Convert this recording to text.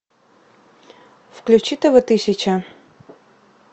включи тв тысяча